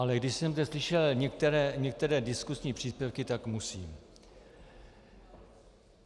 Ale když jsem zde slyšel některé diskusní příspěvky, tak musím.